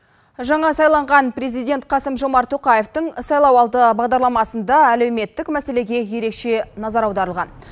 жаңа сайланған президент қасым жомарт тоқаевтың сайлауалды бағдарламасында әлеуметтік мәселеге ерекше назар аударылған